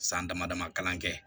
San damadamani kalan kɛ